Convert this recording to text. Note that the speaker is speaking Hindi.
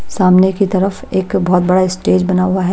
सामने की तरफ एक बहोत बड़ा स्टेज बना हुआ है।